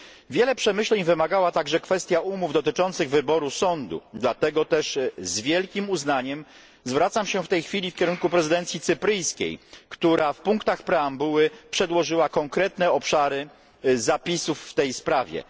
Wiele przemyśleń wymagała także kwestia umów dotyczących wyboru sądu, dlatego też z wielkim uznaniem zwracam się w tej chwili w kierunku prezydencji cypryjskiej, która w punktach preambuły przedłożyła konkretne obszary zapisów w tej sprawie.